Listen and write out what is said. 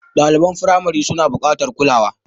Ɗaliban firamari suna buƙatar kulawa.